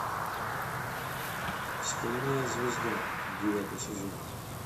стальная звезда девятый сезон